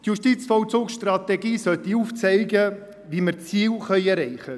Das Fazit auf Deutsch: Die JVS sollte aufzeigen, wie wir die Ziele erreichen können.